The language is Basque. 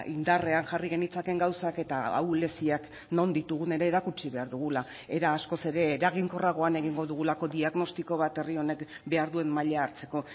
indarrean jarri genitzakeen gauzak eta ahuleziak non ditugun ere erakutsi behar dugula era askoz ere eraginkorragoan egingo dugulako diagnostiko bat herri honek behar duen maila hartzeko